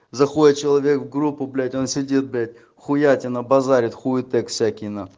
заходит человек в группу блять он сидит блять хуятина базарит хуеты косякина